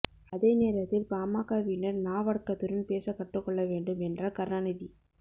அதே நேரத்தில் பாமகவினர் நாவடக்கத்துடன் பேசக் கற்றுக்கொள்ள வேண்டும் என்றார் கருணாநிதி